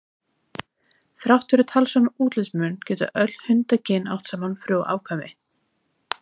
Þrátt fyrir talsverðan útlitsmun geta öll hundakyn átt saman frjó afkvæmi.